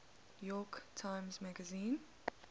york times magazine